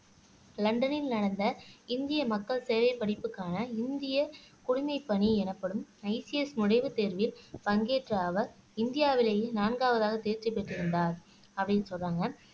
லண்டனில் நடந்த இந்திய மக்கள் சேவை படிப்புக்கான இந்திய குடிமைப்பணி எனப்படும் ICS நுழைவுத் தேர்வில் பங்கேற்ற அவர் இந்தியாவிலேயே நான்காவதாக தேர்ச்சி பெற்றிருந்தார் அப்படின்னு சொல்றாங்க